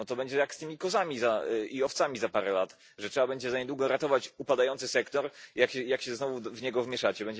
No to będzie jak z tymi kozami i owcami za parę lat, że trzeba będzie za niedługo ratować upadający sektor, jak się znowu w niego wmieszacie.